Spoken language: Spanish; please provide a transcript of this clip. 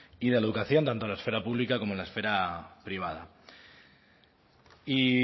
y de la educación tanto en la esfera pública como en la esfera privada y